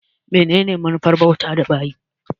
Menene manufar bautar da bayi?